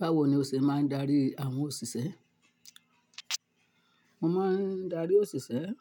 Báwo ni o ṣe máa ń darí àwọn òṣìṣẹ́? Mo máa ń darí òṣìṣẹ́